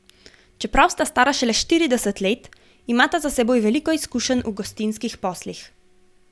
Čeprav sta stara šele štirideset let, imata za seboj veliko izkušenj v gostinskih poslih.